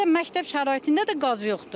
Bizdə məktəb şəraitində də qaz yoxdur.